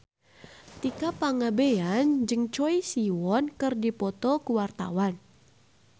Tika Pangabean jeung Choi Siwon keur dipoto ku wartawan